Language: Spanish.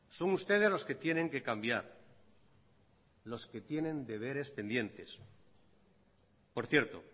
son ustedes los que tienen que cambiar los que tienen deberes pendientes por cierto